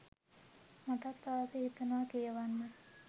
මටත් ආස හිතුනා කියවන්න.